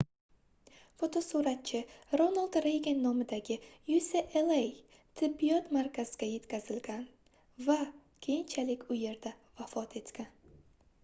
fotosuratchi ronald reygan nomidagi ucla tibbiyot markaziga yetkazilgan va keyinchalik u yerda vafot etgan